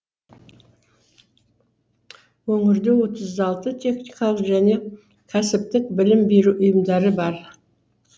өңірде отыз алты техникалық және кәсіптік білім беру ұйымдары бар